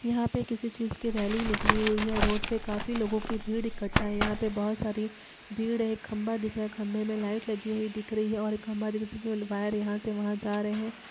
यहां पर किसी चीज की रैली निकली हुई है रोड में काफी लोगों की भीड़ इकट्ठा है यहां पर बहुत सारी भीड़ है एक खंभा दिख रहा है खंबे में लाइट लगी हुई दिख रही है और एक खंभा दिख रहा है सबसे पहले वायर यहां से वहां जा रहे हैं।